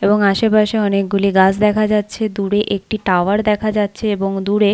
এবং আসেপাশে অনেকগুলি গাছ দেখা যাচ্ছে দূরে একটি টাওয়ার দেখা যাচ্ছে এবং দূরে--